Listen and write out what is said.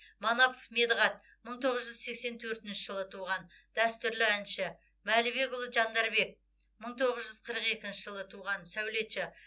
манапов медығат мың тоғыз жүз сексен төртінші жылы туған дәстүрлі әнші мәлібекұлы жандарбек мың тоғыз жүз қырық екінші жылы туған сәулетші